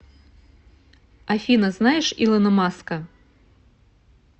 афина знаешь илона маска